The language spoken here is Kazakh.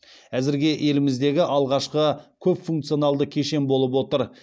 әзірге еліміздегі алғашқы көпфункционалды кешен болып отыр